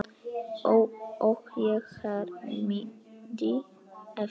Og ég hermdi eftir.